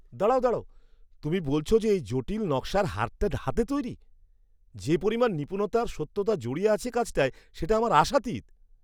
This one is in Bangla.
দাঁড়াও দাঁড়াও, তুমি বলছ যে এই জটিল নকশার হারটা হাতে তৈরি? যে পরিমাণ নিপুণতা আর সত্যতা জড়িয়ে আছে কাজটায় সেটা আমার আশাতীত!